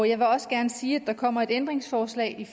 jeg vil også gerne sige at der kommer et ændringsforslag